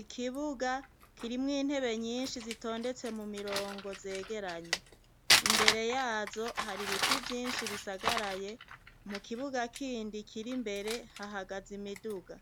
Ikibuga kirimwo intebe nyinshi zitondetse mu mirongo zegeranye, imbere yazo hari ibiti vyinshi bizagaraye mukibuga kindi Kiri mbere hahagaze imiduga